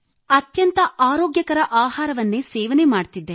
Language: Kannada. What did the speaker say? ಅತ್ಯಂತ ಆರೋಗ್ಯಕರ ಆಹಾರವನ್ನೇ ಸೇವನೆ ಮಾಡುತ್ತಿದ್ದೆ